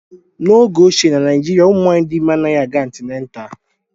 N'oge ochie, Na Naịjirịa, ụmụ nwanyị dị ime anaghị aga antịnetal